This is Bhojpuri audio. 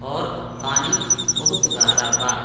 और पानी बहुत गहरा बा।